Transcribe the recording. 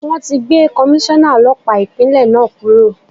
Wọn ti gbé Komíṣọ́nà Ọlọ́pàá Ìpínlẹ̀ náà kúrò.